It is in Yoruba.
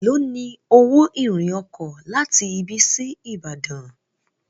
èló ní owo irin oko láti ibí sí ibadan.